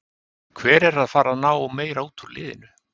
Hver er að fara að ná meira út úr liðinu?